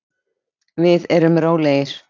Við erum rólegir.